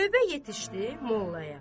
Növbə yetişdi Mollaya.